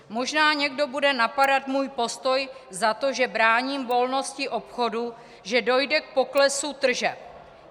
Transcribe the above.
Možná někdo bude napadat můj postoj za to, že bráním volnosti obchodu, že dojde k poklesu tržeb.